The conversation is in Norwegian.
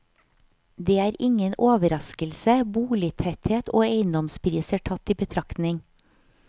Det er ingen overraskelse, boligtetthet og eiendomspriser tatt i betraktning.